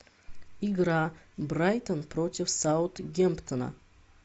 игра брайтон против саутгемптона